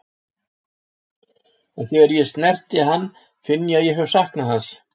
En þegar ég snerti hann finn ég að ég hef saknað hans.